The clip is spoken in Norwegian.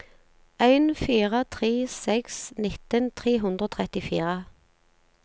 en fire tre seks nitten tre hundre og trettifire